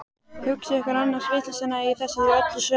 Hugsið ykkur annars vitleysuna í þessu öllu saman!